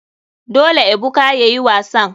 Dole ebuka yayi wasan.